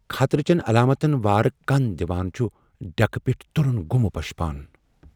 خطرٕ چین علامتن وارٕ كن دِوان چُھ ڈیكہٕ پیٹھۍ ترُن گُمہ پشپان ۔